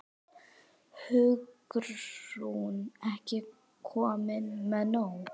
Hugrún: Ekki komnir með nóg?